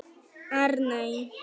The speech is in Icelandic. Arney